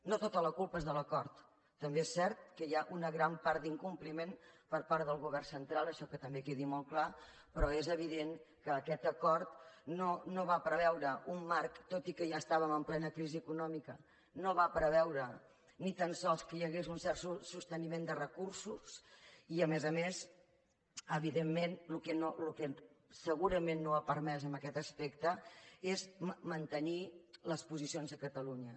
no tota la culpa és de l’acord també és cert que hi ha una gran part d’incompliment per part del govern central això que també quedi molt clar però és evident que aquest acord no va preveure un marc tot i que ja estàvem en plena crisi econòmica no va preveure ni tan sols que hi hagués un cert sosteniment de recursos i a més a més evidentment el que segurament no ha permès en aquest aspecte és mantenir les posicions de catalunya